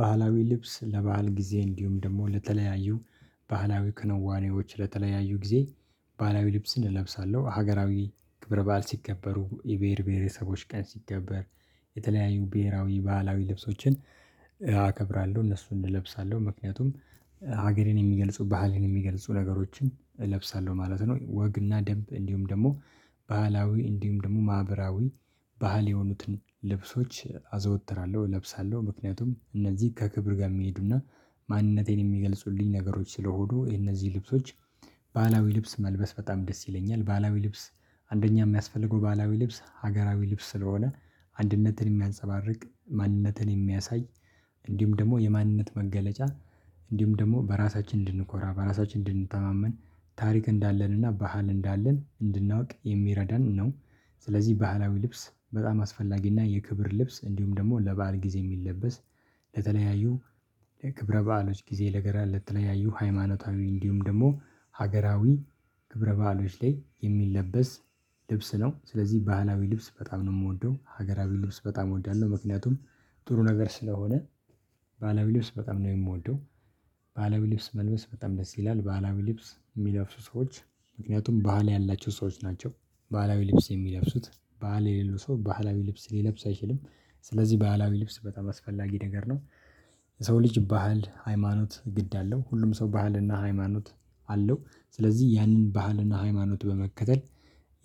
ባህላዊ ልብስ ለባህል ጊዜ እንዲሁም ደግሞ ለተለያዩ ባህላዊ ክንዋኔዎች ለተለያዩ ጊዜ ባህላዊ ልብስን እለብሳለሁ ሀገራዊ ክብረ ባዓል ሲከበሩ የብሄር ብሄረ ሰዎች ቀን ሲከበር የተለያዩ ብሄራዊ ባህላዊ ልብሶችን እከብራለሁ እነሱን እለብሳለሁ ምክንያቱም ሀገርን የሚገልጹ ባህልን የሚገልጹ ነገሮችን እለብሳለሁ ማለት ነው። ወግና ደንብ እንዲሁም ደግሞ ባህላዊ እንዲሁም ደግሞ ማህበራዊ ባህል የሆኑትን ልብሶች አዘወትራለሁ እለብሳለሁ ምክንያቱም እነዚህ ከክብር ጋር የሚሄዱና ማንነቴን የሚገልጹልኝ ነገሮች ስለሆኑ የነዚህ ልብሶች ባህላዊ ልብስ መልበስ በጣም ደስ ይለኛል። ባህላዊ ልብስ አንደኛ የሚያስፈልገው ባህላዊ ልብስ ሀገራዊ ልብስ ስለሆነ አንድነትን የሚያንፀባርቅ ማንነትን የሚያሳይ እንዲሁም ደግሞ የማንነት መገለጫ እንዲሁም ደግሞ በራሳችን እንድንኮራ እንድንተማመን ታሪክ እንዳለንና ባህል እንዳለን እንድናውቅ የሚረዳን ነው። ስለዚህ ባህላዊ ልብስ በጣም አስፈላጊና የክብር ልብስ እንዲሁም ደግሞ ለባህል ጊዜ የሚለበስ ለተለያዩ ለክብረ በዓሎች ጊዜ ነገር ለተለያዩ ሃይማኖታዊ እንዲሁም ደግሞ ሀገራዊ ክብረ ባህሎች ላይ የሚለበስ ልብስ ነው። ስለዚህ ባህላዊ ልብስ በጣም ነው የምወደው ሀገራዊ ልብስ በጣም እወዳለሁ። ምክንያቱም ጥሩ ነገር ስለሆነ ባህላዊ ልብስ በጣም ነው የምወደው። ባህላዊ ልብስ መልበስ በጣም ደስ ይላል ባህላዊ ልብስ የሚለብሱ ሰዎች ምክንያቱም ባህል ያላቸው ሰዎች ናቸው ባህላዊ ልብስ የሚለፍሱት በዓል የሌለው ሰው ባህላዊ ልብስ ሊለብስ አይችልም ስለዚህ ባህላዊ ልብስ በጣም አስፈላጊ ነገር ነው። የሰው ልጅ ባህል ሃይማኖት ግድ አለው ሁሉም ሰው ባህልና ሃይማኖት አለው ስለዚህ ይህን ባህልና ሃይማኖት በመከተል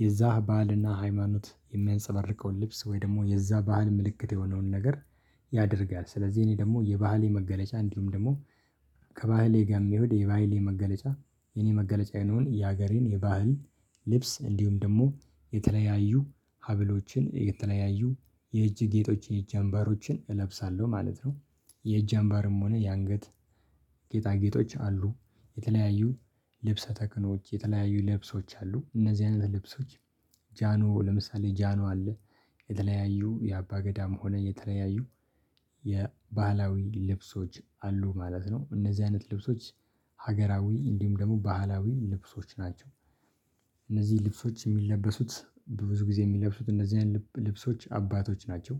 የዛ ባህልና ሃይማኖት የሚያንፀበርቀውን ልብስ ወይ ደግሞ የዛ ባህል ምልክት የሆነውን ነገር ያደርጋል። ስለዚህ እኔ ደግሞ የባህሌ መገለጫ እንዲሁም ደግሞ ከባህሌ ጋር ሚሄድ የባህሌ መገለጫ የኔ መገለጫ የነበረውን የሀገሬን የባህል ልብስ እንዲሁም ደግሞ የተለያዩ ሀብሎችን የተለያዩ የእጅ ጌጦችን የእጅ አንባሮችን እለብሳለሁ ማለት ነው። የእጅ አንባርም ሆነ የአንገት ጌጣጌጦች አሉ የተለያዩ ልብሰ ተክኖዎች የተለያዩ ልብሶች አሉ እነዚህ አይነት ልብሶች ጃኖ ለምሳሌ ጃኖ አለ። የተለያዩ የአባ ገዳም ሆነ የተለያዩ የባህላዊ ልብሶች አሉ ማለት ነው እነዚህ አይነት ልብሶች ሀገራዊ እንዲሁም ደግሞ ባህላዊ ልብሶች ናቸው። እነዚህ ልብሶች የሚለበሱት ብዙ ጊዜ የሚለብሱት እንደዚህ አይነት ልብሶች አባቶች ናቸው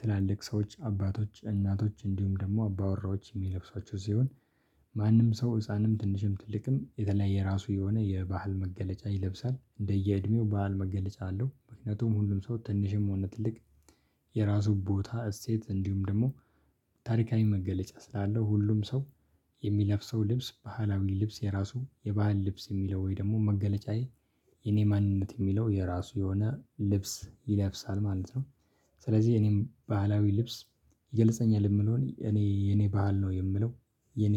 ትላልቅ ሰዎች አባቶች እናቶች እንዲሁም ደግሞ አባወራዎች የሚለብሷቸው ሲሆን ማንም ሰው ህፃንም ትንሽም ትልቅም የተለያየ ራሱ የሆነ የባህል መገለጫ ይለብሳል እንደየእድሜው ባህል መገለጫ አለው። ምክንያቱም ሁሉም ሰው ትንሽም ሆነ ትልቅ የራሱ ቦታ እሴት እንዲሁም ደግሞ ታሪካዊ መገለጫ ስላለው ሁሉም ሰው የሚለብሰው ልብስ ባህላዊ ልብስ የራሱ የባህል ልብስ የሚለው ወይ ደግሞ መገለጫዬ የኔ ማንነት የሚለው የራሱ የሆነ ልብስ ይለብሳል ማለት ነው። ስለዚህ እኔም ባህላዊ ልብስ ይገልጸኛል የምለውን እኔ የኔ ባህል ነው የምለው የኔ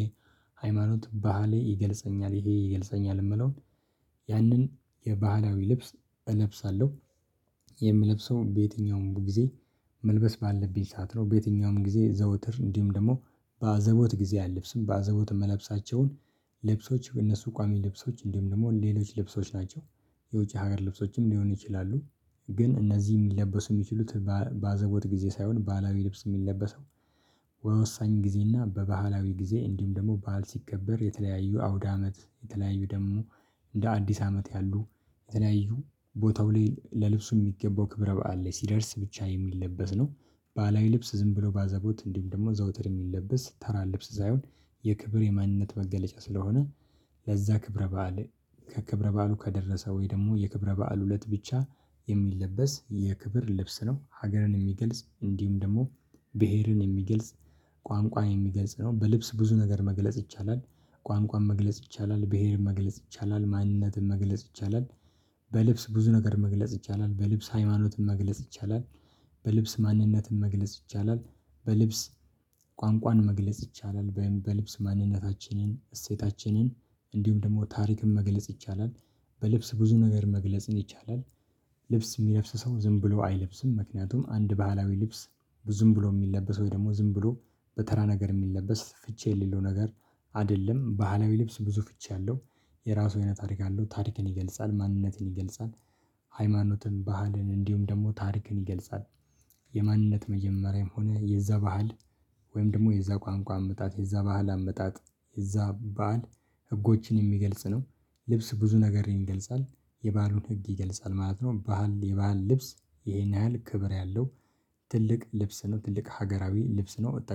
ሃይማኖት ባህሌ ይገልጸኛል ይሄ ይገልጸኛል የምለውን ያንን የባህላዊ ልብስ እለብሳለሁ። የምለብሰው በየትኛውም ጊዜ መልበስ ባለብኝ ሰዓት ነው በየትኛውም ጊዜ ዘውትር እንዲሁም ደግሞ በአዘቦት ጊዜ አለብስም በአዘቦት እምለብሳቸውን በእነሱ ቋሚ ልብሶች እንዲሁም ደግሞ ሌሎች ልብሶች ናቸው። የውጭ ሀገር ልብሶችም ሊሆኑ ይችላሉ ግን እነዚህ የሚለበሱ የሚችሉት ባዘቦት ጊዜ ሳይሆን ባህላዊ ልብስ የሚለበሰው በወሳኝ ጊዜና በባህላዊ ጊዜ እንዲሁም ደግሞ ባህል ሲከበር የተለያዩ አውደ አመት የተለያዩ ደግሞ እንደ አዲስ አመት ያሉ የተለያዩ ቦታው ላይ ለልብሱ የሚገባው ክብረ በዓል ላይ ሲደርስ ብቻ የሚለበስ ነው። ባህላዊ ልብስ ዝም ብሎ ባዘቦት እንዲሁም ደግሞ ዘውትር የሚለበስ ተራ ልብስ ሳይሆን የክብር የማንነት መገለጫ ስለሆነ። ለዛ ክብረ በዓል ከክብረ በዓሉ ከደረሰ ወይ ደግሞ የክብረ በዓል እለት ብቻ የሚለበስ የክብር ልብስ ነው። ሀገርን የሚገልጽ እንዲሁም ደግሞ ብሄርን የሚገልጽ ቋንቋን የሚገልጽ ነው በልብስ ብዙ ነገር መግለጽ ይቻላል። ቋንቋን መግለጽ ይቻላል ብሄርን መግለጽ ይቻላል ማንነትን መግለጽ ይቻላል። በልብስ ብዙ ነገር መግለጽ ይቻላል በልብስ ሃይማኖትን መግለጽ ይቻላል። በልብስ ማንነትን መግለጽ ይቻላል በልብስ ቋንቋን መግለጽ ይቻላል ወይም በልብስ ማንነታችንን እሴታችንን እንዲሁም ደግሞ ታሪክን መግለጽ ይቻላል። በልብስ ብዙ ነገር መግለጽን ይቻላል። ልብስ የሚለብስ ሰው ዝም ብሎ አይለብስም ምክንያቱም አንድ ባህላዊ ልብስ ዝም ብሎ የሚለበስ ወይ ደግሞ ዝም ብሎ በተራ ነገር የሚለበስ ፍቺ የሌለው ነገር አይደለም ባህላዊ ልብስ ብዙ ፍቺ አለው። የራሱ አይነት ታሪክ አለው ታሪክን ይገልጻል ማንነትን ይገልጻል። ሃይማኖትን ባህልን እንዲሁም ደግሞ ታሪክን ይገልጻል። የማንነት መጀመሪያም ሆነ የዛ ባህል ወይም ደግሞ የዛ ቋንቋ አመጣጥ የዛ ባህል አመጣጥ የዛ ባህል ህጎችን የሚገልጽ ነው። ልብስ ብዙ ነገር ይገልጻል የባህሉን ህግ ይገልጻል ማለት ነው። ባህል የባህል ልብስ ይሄን ያህል ክብር ያለው ትልቅ ልብስ ነው። ትልቅ ሀገራዊ ልብስ ነው።